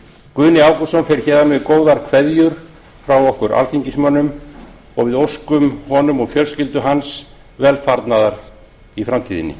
guðni ágústsson fer héðan með góðar kveðjur frá okkur alþingismönnum og við óskum honum og fjölskyldu hans velfarnaðar í framtíðinni